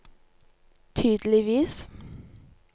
tydeligvis